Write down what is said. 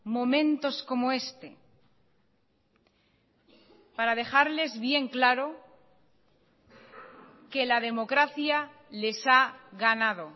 momentos como este para dejarles bien claro que la democracia les ha ganado